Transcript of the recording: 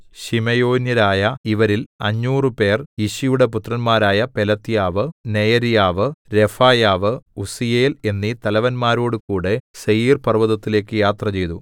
ശിമെയോന്യരായ ഇവരിൽ അഞ്ഞൂറുപേർ യിശിയുടെ പുത്രന്മാരായ പെലത്യാവ് നെയര്യാവ് രെഫായാവ് ഉസ്സീയേൽ എന്നീ തലവന്മാരോടുകൂടെ സേയീർപർവ്വതത്തിലേക്ക് യാത്രചെയ്തു